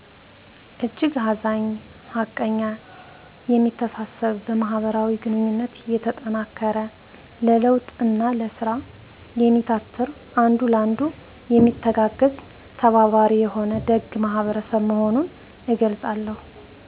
እጅግ አዛኝ ሀቀኛ የሚተሳሰብ በማህበራዊ ግኑኝነት የተጠናከረ ለለዉጥ እና ለስራ የሚታትር አንዱ ለአንዱ የሚተጋገዝ/ተባባሪ የሆነ ደግ ማህበረሰብ መሆኑን እገልፃለሁ